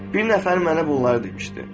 Bir nəfər mənə bunları demişdi.